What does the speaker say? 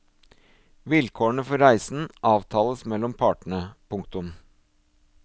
Vilkårene for reisen avtales mellom partene. punktum